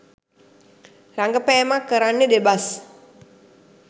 රඟපෑමක් කරන්නෙ දෙබස්